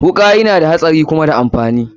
Wuka yana da hatsari kuma da amfani.